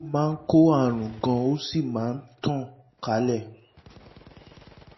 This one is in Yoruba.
ó máa ń kó àrùn gan-an ó sì máa ń tàn kálẹ̀